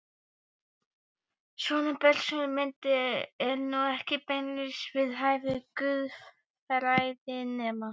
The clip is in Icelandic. Svona bersögul mynd er nú ekki beinlínis við hæfi guðfræðinema.